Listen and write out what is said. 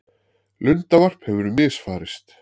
Lundavarp hefur misfarist